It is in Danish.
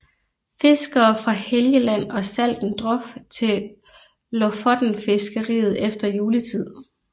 Fiskere fra Helgeland og Salten drof til lofotenfiskeriet efter juletiden